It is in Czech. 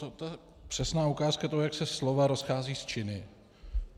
To je přesná ukázka toho, jak se slova rozcházejí s činy.